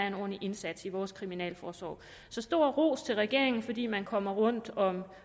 en ordentlig indsats i vores kriminalforsorg så stor ros til regeringen fordi man kommer rundt om